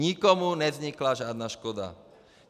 Nikomu nevznikla žádná škoda.